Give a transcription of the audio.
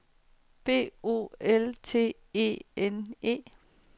B O L T E N E